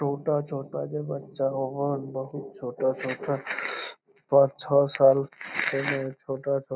छोटा-छोटा जे बच्चा हो बहुत छोटा-छोटा पांच छ साल छै ने --